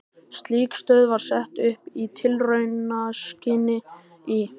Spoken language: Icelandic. Slík stöð var sett upp í tilraunaskyni í